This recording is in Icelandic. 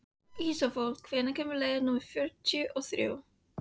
Þá hló hann og hélt það nú kannski ekki.